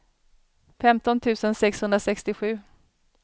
femton tusen sexhundrasextiosju